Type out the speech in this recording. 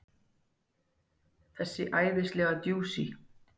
Þessi æðislega djúsí!